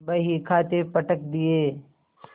बहीखाते पटक दिये